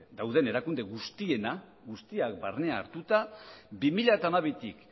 dauden erakunde guztienak guztiak barne hartuta bi mila hamabitik